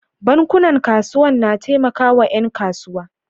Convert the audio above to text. Bankunan kasuwan na taimakawa ƴan kasuwa.